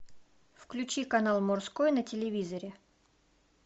включи канал морской на телевизоре